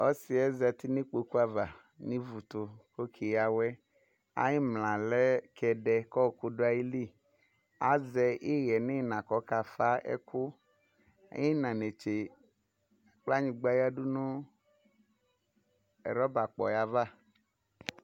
Ɔsɩyɛ zatɩ nʊ ikpokʊbava nʊ ɩvʊtʊ kɔke ya awɛ ayʊ imlayɛ kɛdɛ lɛ azɛ ɩhɛ nʊ ɩna kʊ akafa ɛkʊ ɩna netse kplanyigba yadʊ nʊ rɔbaplɔyɛ ava